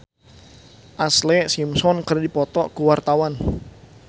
Acha Septriasa jeung Ashlee Simpson keur dipoto ku wartawan